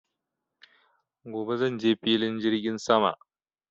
Gobe zanje Filin jirgin sama